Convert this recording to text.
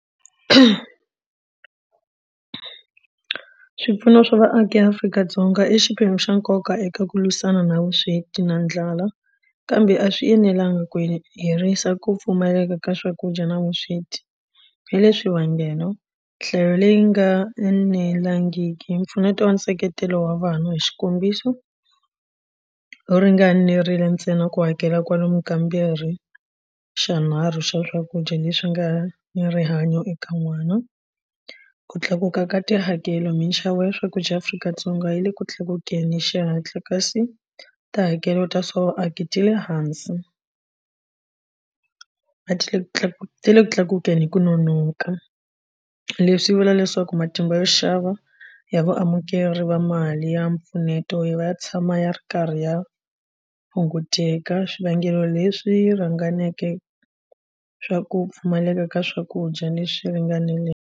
Swipfuno swa vaaki eAfrika-Dzonga i xiphemu xa nkoka eka ku lwisana na vusweti na ndlala kambe a swi enelanga ku herisa ku pfumaleka ka swakudya na vusweti hi le swivangelo nhlayo leyi nga enelangiki mpfuneto wa nseketelo wa vana hi xikombiso yo ringanerile ntsena ku hakela kwalomu kambirhi xanharhu xa swakudya leswi nga ni rihanyo eka n'wana. Ku tlakuka ka tihakelo minxavo ya swakudya Afrika-Dzonga yi le ku tlakukeni xihatla kasi tihakelo ta ti le hansi a ti le ti le kutlakukeni hi ku nonoka. Leswi swi vula leswaku matimba yo xava ya vaamukeri va mali ya mpfuneto yi va ya tshama ya ri karhi ya hunguteka swivangelo leswi rhanganeke swa ku pfumaleka ka swakudya leswi ringaneleke.